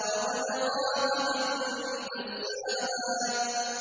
وَقَدْ خَابَ مَن دَسَّاهَا